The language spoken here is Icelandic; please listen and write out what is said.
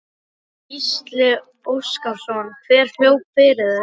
Gísli Óskarsson: Hver hljóp fyrir þig?